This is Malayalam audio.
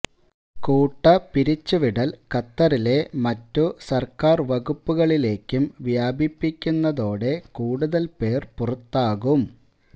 കൂട്ടപ്പിരിച്ചു വിടല് ഖത്തറിലെ മറ്റു സര്ക്കാര് വകുപ്പുകളിലേക്കും വ്യാപിപ്പിക്കുന്നതോടെ കൂടുതല് പേര് പുറത്താകും